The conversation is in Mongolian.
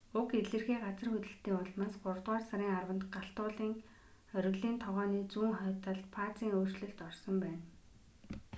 уг илэрхий газар хөдлөлтийн улмаас гуравдугаар сарын 10-нд галт уулын оргилын тогооны зүүн хойд талд фазын өөрчлөлт болсон байна